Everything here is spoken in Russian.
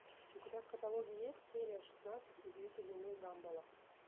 у тебя в каталоге есть серия шестнадцать удивительный мир гамбола